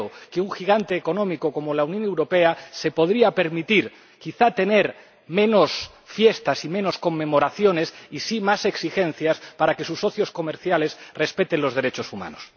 Creo que un gigante económico como la Unión Europea se podría permitir quizá tener menos fiestas y menos conmemoraciones y aplicar más exigencias para que sus socios comerciales respeten los derechos humanos.